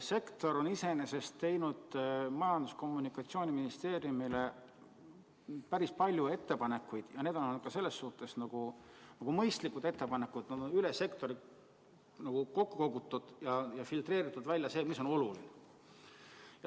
Sektor on iseenesest teinud Majandus- ja Kommunikatsiooniministeeriumile päris palju ettepanekuid ja need on olnud mõistlikud ettepanekud, need on üle sektori kokku kogutud, välja on filtreeritud, mis on oluline.